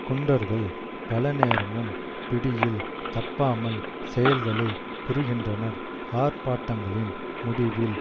குண்டர்கள் பலநேரமும் பிடியில் தப்பாமல் செயல்களை புரிகின்றனர் ஆர்ப்பாட்டங்களின் முடிவில்